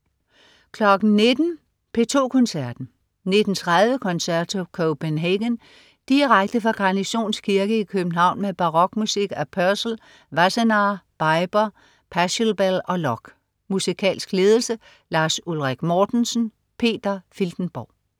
19.00 P2 Koncerten. 19.30 Concerto Copenhagen. Direkte fra Garnisons Kirke i København med barokmusik af Purcell, Wassenaar, Biber, Pachelbel og Locke. Musikalsk ledelse: Lars Ulrik Mortensen. Peter Filtenborg